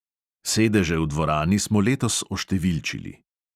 Sedeže v dvorani smo letos oštevilčili.